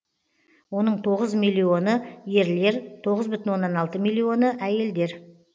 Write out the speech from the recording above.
оның тоғыз миллионы ерлер тоғыз бүтін оннан алты миллионы әйелдер